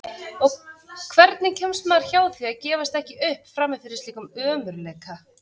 Og hvernig kemst maður hjá því að gefast ekki upp frammi fyrir slíkum ömurleika?